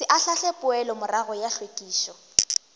se ahlaahle poelomorago ya hlwekišo